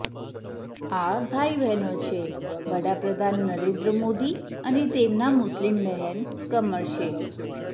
આ ભાઇ બહેનો છે વડાપ્રધાન નરેન્દ્ર મોદી અને તેમના મુસ્લિમ બહેન કમર શેખ